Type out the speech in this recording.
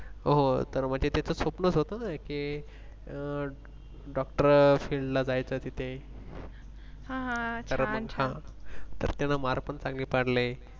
हो तर म्हणजे त्याचं स्वप्न होतं ना के अह DoctorField ला जायचं तिथे. तर Mark पण चांगली पाडले.